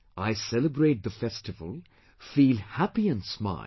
I celebrate the festival, fee happy and smile